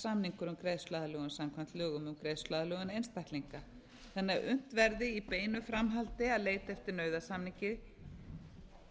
samningur um greiðsluaðlögun samkvæmt lögum um greiðsluaðlögun einstaklinga þannig að unnt verði í beinu framhaldi að leita eftir nauðasamningi